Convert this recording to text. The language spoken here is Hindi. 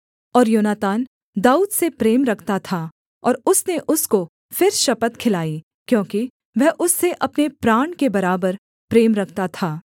और योनातान दाऊद से प्रेम रखता था और उसने उसको फिर शपथ खिलाई क्योंकि वह उससे अपने प्राण के बराबर प्रेम रखता था